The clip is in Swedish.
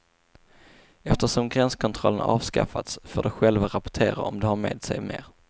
Eftersom gränskontrollerna avskaffats får de själva rapportera om de har med sig mer.